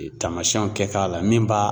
Taamasiyɛnw kɛ k'a la min b'a